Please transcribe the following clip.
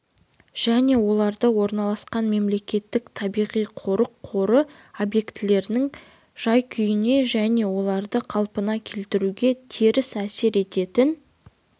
және оларда орналасқан мемлекеттік табиғи-қорық қоры объектілерінің жай-күйіне және оларды қалпына келтіруге теріс әсер ететін